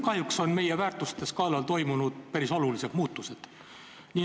Kahjuks on meie väärtusteskaalal toimunud päris olulised muutused.